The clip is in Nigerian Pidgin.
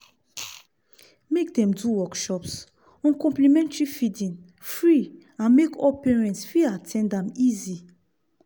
make dem do workshops on complementary feeding free and make all parents fit at ten d am easy.